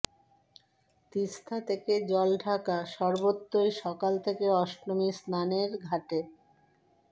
তিস্তা থেকে জলঢাকা সর্বত্রই সকাল থেকে অষ্টমীর স্নানের ঘাটে